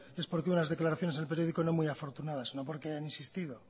es porque unas declaraciones en el periódico no muy afortunadas no porque hayan insistido